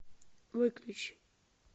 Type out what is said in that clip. выключи